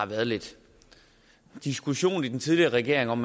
været lidt diskussion i den tidligere regering om